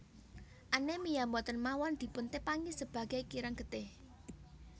Anemia boten mawon dipun tepangi sebage kirang getih